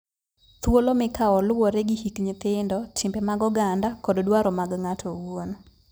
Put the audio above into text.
Thuolo mikawo luwore gi hik nyithindo, timbe mag oganda, kod dwaro mag ng'ato owuon.